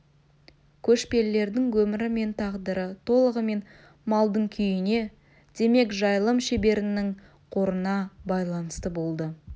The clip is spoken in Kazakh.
көшпелілердің өмірі мен тағдыры толығымен малдың күйіне демек жайылым шеберінің қорына байланысты болды